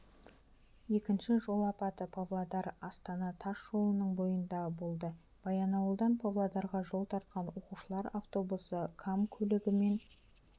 екінші жол апаты павлодар-астана тас жолының бойында болды баянауылдан павлодарға жол тартқан оқушылар автобусы кам көлігімен